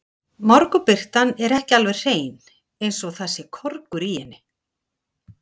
Morgunbirtan er ekki alveg hrein, eins og það sé korgur í henni.